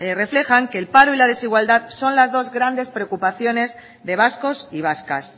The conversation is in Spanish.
reflejan que el paro y la desigualdad son las dos grandes preocupaciones de vascos y vascas